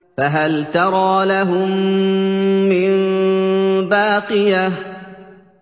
فَهَلْ تَرَىٰ لَهُم مِّن بَاقِيَةٍ